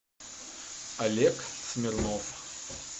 олег смирнов